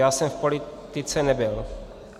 Já jsem v politice nebyl.